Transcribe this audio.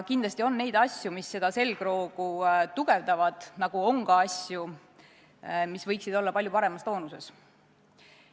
Kindlasti on asju, mis seda selgroogu tugevdavad, nagu on ka asju, mis võiksid olla palju paremas toonuses.